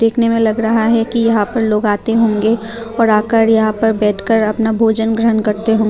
देखने में लग रहा है कि यहां पर लोग आते होंगे और आकर यहां पर बैठकर अपना भोजन ग्रहण करते होंगे।